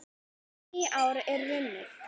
Nýár er runnið!